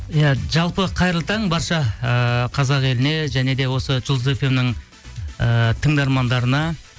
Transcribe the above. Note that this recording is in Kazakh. иә жалпы қайырлы таң барша ыыы қазақ еліне және де осы жұлдыз фм нің ыыы тыңдармандарына